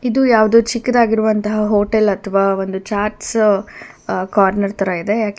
ಇದು ಯಾವ್ದೋ ಚಿಕ್ಕದಾಗಿರುವಂತಹ ಹೋಟೆಲ್ ಅಥವಾ ಒಂದು ಚಾಟ್ಸ್ ಕಾರ್ನರ್ ತರ ಇದೆ.